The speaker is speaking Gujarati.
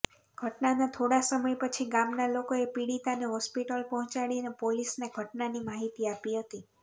ઘટનાના થોડા સમય પછી ગામના લોકોએ પીડિતાને હોસ્પિટલ પહોચાડીને પોલીસને ઘટનાની માહિતી આપી હતી